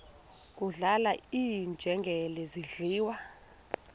kudlala iinjengele zidliwa